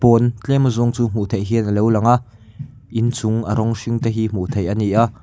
pawn tlem a zawng chu hmuh theih hian alo langa in chung a rawng hring te hi hmuh theih ani a .